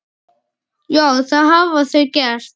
Já, það hafa þau gert.